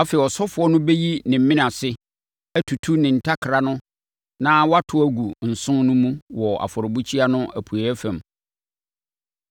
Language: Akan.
Afei, ɔsɔfoɔ no bɛyi ne mene ase, atutu ne ntakra no na wato agu nsõ no mu wɔ afɔrebukyia no apueeɛ fam.